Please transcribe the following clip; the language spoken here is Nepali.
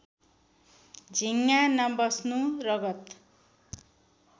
झिङ्गा नबस्नु रगत